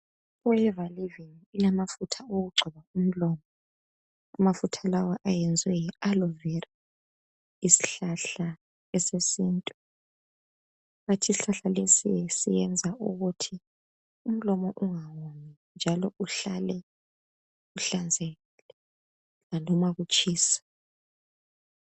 I forever living ilamafutha okugcoba umlomo amafutha lawa ayenzwe nge aloe vera isihlahla sesintu bathi isihlahla lesi senza ukuthi umlomo ungawomi njalo uhlale uhlanzekile noma kutshisa.